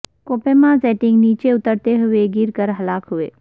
کو پیما زڈینک نیچے اترتے ہوئے گر کر ہلاک ہوئے